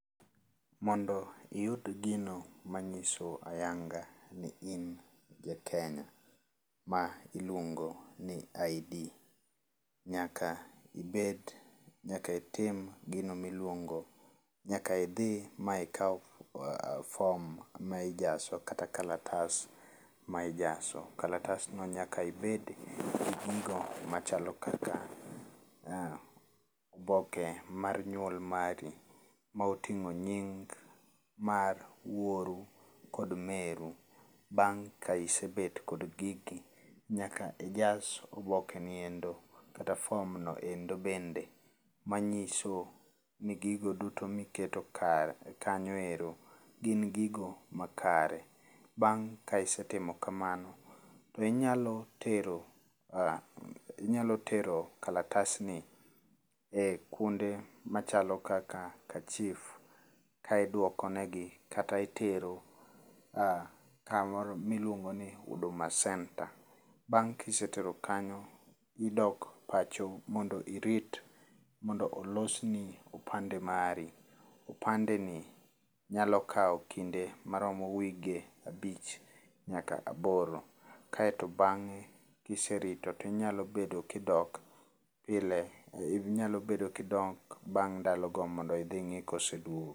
Mondo iyud gino manyiso ayanga ni in jakenya, ma iluongo ni ID, nyaka idhi ma ikaw fom ma ijaso kata kalatas ma ijaso. Kalatasno nyaka ibed gi gigo machalo kaka oboke mar nyuol mari maoting'o nying mar wuoru kod meru. Bang' ka isebet kod gigi, nyaka ijas obokeni endo kata fomno endo bende manyiso ni gigo duto miketo kanyo ero gin gigo makare. Bang' ka isetimo kamano, to inyalo tero kalatasni e kuonde machalo kaka kachif ka iduokonegi kata itero kamoro miluongo ni huduma center. Bang' kisetero kanyo idok pacho mondo irit mondo olosni opande mari. Opandeni nyalo kawo kinde maromo wige abich nyaka aboro. Kaeto bang'e kiserito tinyalo bedo kidok bang' ndalogo mondo idhi ng'i koseduogo.